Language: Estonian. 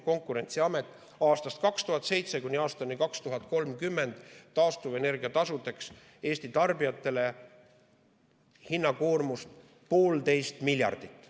Konkurentsiamet prognoosib aastatel 2007–2030 taastuvenergia tasu koormuseks Eesti tarbijatele 1,5 miljardit.